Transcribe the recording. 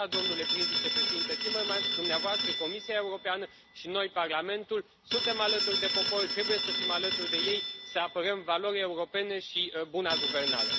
De aceea, domnule prim vicepreședinte Timmermans, dumneavoastră, Comisia Europeană și noi, Parlamentul, suntem alături de popor, trebuie să fim alături de ei, să apărăm valorile europene și buna guvernare.